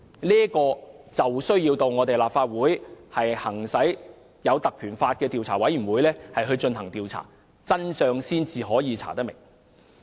立法會有需要引用《立法會條例》成立專責委員會就此進行調查，才能查明真相。